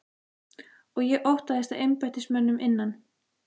Og ég óttaðist að embættismönnum innan